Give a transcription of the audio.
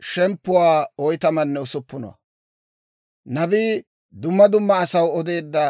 Kawutetsatuwaabaa odanaw Med'inaa Goday Ermaasaw kiitteedda